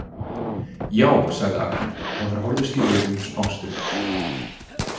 Já, sagði Agne og þær horfðust í augu smástund.